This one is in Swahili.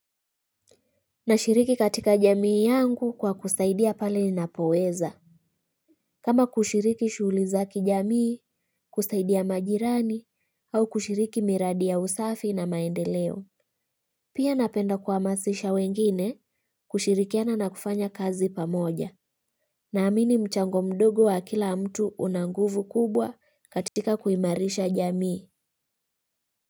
Na shiriki katika jamii yangu kwa kusaidia pali napoweza. Kama kushiriki shugli za kijamii kusaidia majirani au kushiriki miradi ya usafi na maendeleo. Pia napenda kwamasisha wengine kushirikiana na kufanya kazi pamoja. Na amini mchango mdogo wa kila mtu una nguvu kubwa katika kuimarisha jamii.